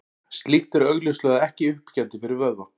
Slíkt er augljóslega ekki uppbyggjandi fyrir vöðva.